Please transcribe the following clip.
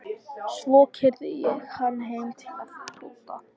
Svo keyrði ég hann heim til Tóta.